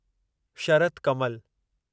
Sharath Kamal